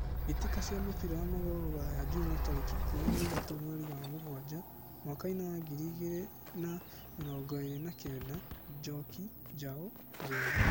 Mbĩtĩka cia mũbira wa magũrũ Ruraya Juma tarĩki ikũmi na ithatũ mweri wa mũgwanja mwakainĩ wa ngiri igĩrĩ na mĩrongo ĩrĩ na kenda: Njoki, Njau, Njeri.